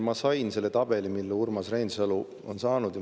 Ma sain selle tabeli, mille ka Urmas Reinsalu oli saanud.